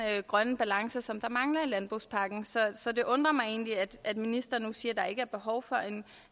grønne balance som der mangler i landbrugspakken så det undrer mig egentlig at ministeren nu siger at der ikke er behov for